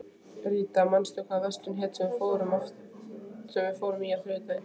Ríta, manstu hvað verslunin hét sem við fórum í á þriðjudaginn?